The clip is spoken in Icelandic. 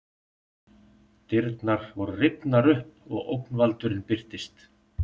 Dyrnar voru rifnar upp og ógnvaldurinn birtist.